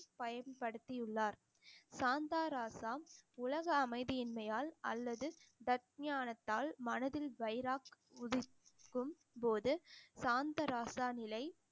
பயன்படுத்தியுள்ளார் சாந்தா ராசா உலக அமைதியின்மையால் அல்லது தத் ஞானத்தால் மனதில் வைராக் உதிக்கும் போது சாந்த ராசா நிலை